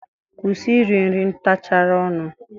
Kwusi iri nri ntachara ọnụ!